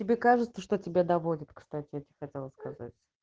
тебе кажется что тебя доводит кстати хотела сказать